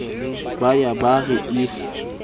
ba ya ba re if